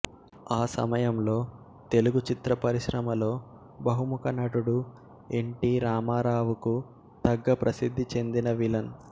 ఆ సమయంలో తెలుగు చిత్ర పరిశ్రమలో బహుముఖ నటుడు ఎన్ టి రామారావుకు తగ్గ ప్రసిద్ధి చెందిన విలన్